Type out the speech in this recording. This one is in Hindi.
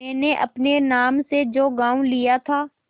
मैंने अपने नाम से जो गॉँव लिया था